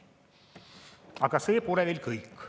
Aga see pole veel kõik.